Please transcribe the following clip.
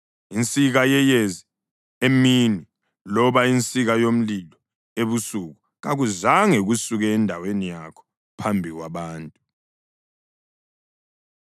Insika yeyezi emini loba insika yomlilo ebusuku kakuzange kusuke endaweni yakho phambi kwabantu.